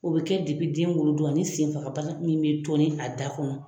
O bɛ kɛ den wolo don ani sen fagabana min bɛ toni a da kɔnɔ.